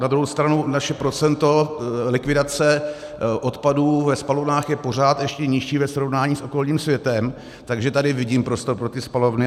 Na druhou stranu naše procento likvidace odpadů ve spalovnách je pořád ještě nižší ve srovnání s okolním světem, takže tady vidím prostor pro ty spalovny.